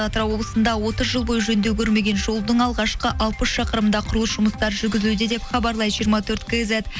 атырау облысында отыз жыл бойы жөндеу көрмеген жолдың алғашқы алпыс шақырымында құрылыс жұмыстары жүргізілуде деп хабарлайды жиырма төрт кизет